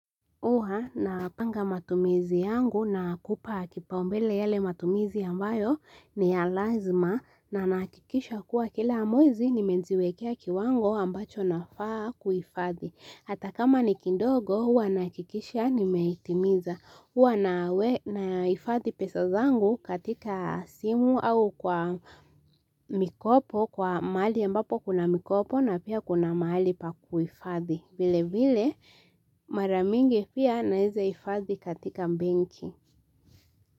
Huwa napanga matumizi yangu na kupaa kipaumbele yele matumizi ambayo ni ya lazima na nahakikisha kuwa kila mwezi nimeziwekea kiwango ambacho nafaa kuifadhi. Hata kama ni kidogo huwa nahakikisha nimehitimiza huwa nahifadhi pesa zangu katika simu au kwa mikopo kwa mahali ambapo kuna mikopo na pia kuna mahali pa kuhifadhi. Vile vile mara mingi pia naeza hifadhi katika benki.